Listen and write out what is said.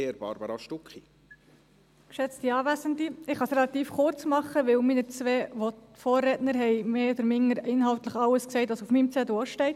Ich kann es relativ kurzmachen, weil meine beiden Vorredner inhaltlich mehr oder weniger alles gesagt, was auch auf meinem Zettel steht.